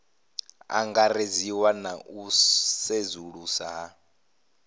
angaredziwa na u sedzulusa ha